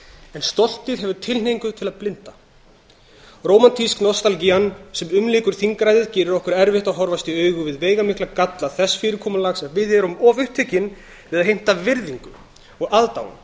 en stoltið hefur tilhneigingu til að blinda rómantísk nostalgían sem umlykur þingræðið gerir okkur erfitt að horfast í augu við veigamikla galla þess fyrirkomulags að við erum of upptekin við að heimta virðingu og aðdáun